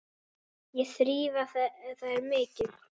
Ekki þrífa þær mikið.